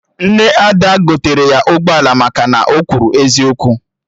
Nne Ada gotere ya ụgbọala maka na o kwuru eziokwu